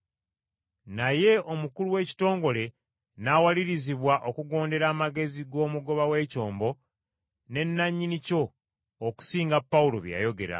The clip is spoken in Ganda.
Naye omukulu w’ekitongole n’awalirizibwa okugondera amagezi g’omugoba w’ekyombo ne nannyini kyo okusinga Pawulo bye yayogera.